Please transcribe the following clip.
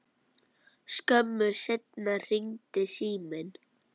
Skömmu seinna hringdi síminn.